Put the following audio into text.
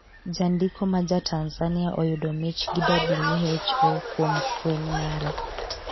jandiko ma ja Tanzania oyudo mich gi WHO kuom fweny mare